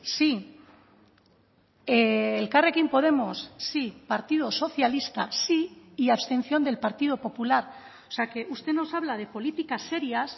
sí elkarrekin podemos sí partido socialista sí y abstención del partido popular o sea que usted nos habla de políticas serías